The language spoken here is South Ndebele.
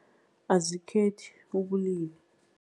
Azikhethi ubulili.